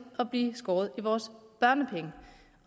at blive skåret i vores børnepenge